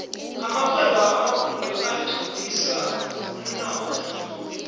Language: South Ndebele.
amarhwebo amakhulu othuthukisa umnotho